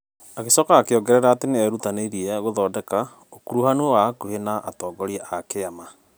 Agĩcoka akĩongerera atĩ nĩ erutanĩirie gũthondeka ũkuruhanu wa hakuhĩ na atongoria a kĩama.